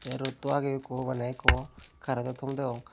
tee roddto agey ekku mane agey ekku karento thom degong.